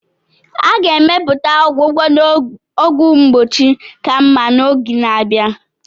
A ga-emepụta ọgwụgwọ na ọgwụ mgbochi ka mma n'oge na-abịa.